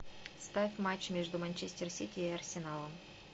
ставь матч между манчестер сити и арсеналом